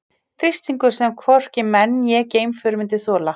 Þrýstingur sem hvorki menn né geimför myndu þola.